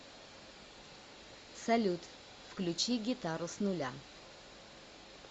салют включи гитару с нуля